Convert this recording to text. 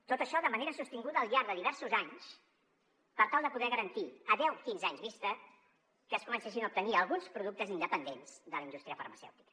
tot això de manera sostinguda al llarg de diversos anys per tal de poder garantir a deu quinze anys vista que es comencessin a obtenir alguns productes independents de la indústria farmacèutica